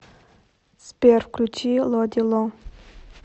сбер включи лодди ло